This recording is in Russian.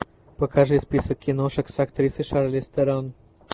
покажи список киношек с актрисой шарлиз терон